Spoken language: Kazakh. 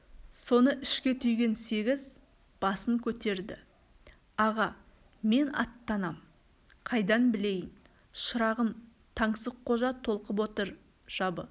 соны ішке түйген сегіз басын көтерді аға мен аттанам қайдан білейін шырағым таңсыққожа толқып отыр жабы